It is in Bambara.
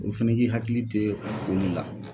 O fɛnɛ k'i hakili te olu la.